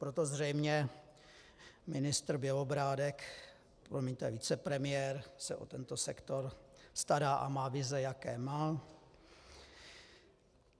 Proto zřejmě ministr Bělobrádek, promiňte, vicepremiér se o tento sektor stará a má vize, jaké má.